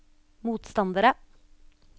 motstandere